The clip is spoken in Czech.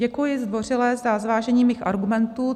Děkuji zdvořile za zvážení mých argumentů.